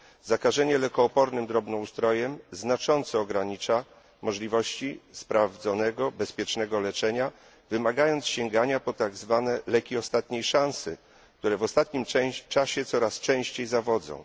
Zakażenie lekoopornym drobnoustrojem znacząco ogranicza możliwości sprawdzonego, bezpiecznego leczenia, wymagając sięgania po tak zwane leki ostatniej szansy, które w ostatnim czasie coraz częściej zawodzą.